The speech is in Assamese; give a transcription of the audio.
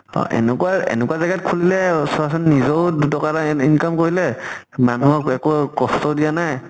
অহ এনেকুৱা এনেকুৱা খুলিলে চোৱা চোন নিজৰো দুট্কা এটা এন income কৰিলে, মানুহক একো কষ্টও দিয়া নাই